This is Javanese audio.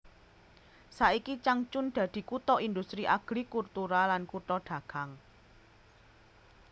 Saiki Changchun dadi kutha industri agrikultura lan kutha dagang